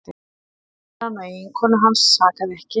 Ráðherrann og eiginkonu hans sakaði ekki